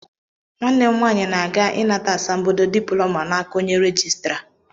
Nwanne m nwaanyị na-aga ịnata àsàmbodo dịplọma n'aka onye règịstrà